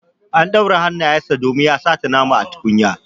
An ɗaure hannayen sa domin ya sata nama a tukunya.